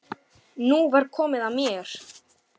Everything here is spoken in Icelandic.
Ein stendur kannski upp úr.